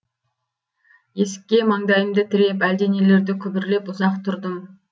есікке маңдайымды тіреп әлденелерді күбірлеп ұзақ тұрдым